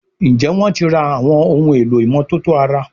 Njé wón tí rà Àwọn ohun èlò ìmọ́tótó ara?